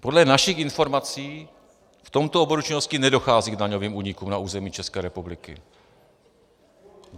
Podle našich informací v tomto oboru činnosti nedochází k daňovým únikům na území České republiky.